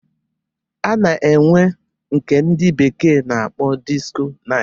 A na-enwe nke ndị bekee na-akpọ disko nait.